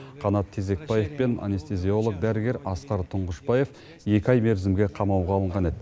қанат тезекбаев пен анестезиолог дәрігер асқар тұңғышбаев екі ай мерзімге қамауға алынған еді